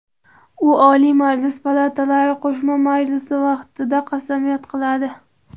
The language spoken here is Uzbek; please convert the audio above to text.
U Oliy Majlis palatalari qo‘shma majlisi vaqtida qasamyod qiladi.